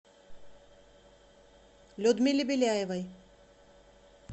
людмиле беляевой